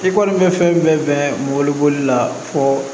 I kɔni bɛ fɛn bɛɛ bɛn bolo la fɔ